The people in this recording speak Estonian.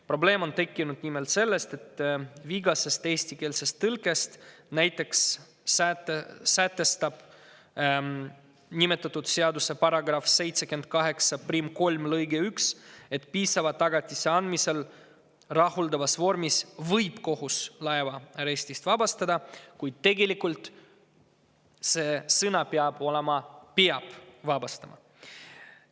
Probleem on tekkinud nimelt sellest, et vigases eestikeelses tõlkes näiteks sätestab nimetatud seaduse § 783 lõige 1, et piisava tagatise andmisel rahuldavas vormis võib kohus laeva arestist vabastada, kuid tegelikult peaks see sõna olema "peab vabastama".